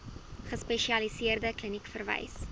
gespesialiseerde kliniek verwys